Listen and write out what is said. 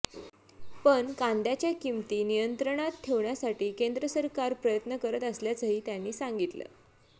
पण कांद्याच्या किंमती नियंत्रणात ठेवण्यासाठी केंद्र सरकार प्रयत्न करत असल्याचंही त्यांनी सांगितलं